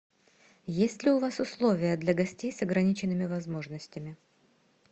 есть ли у вас условия для гостей с ограниченными возможностями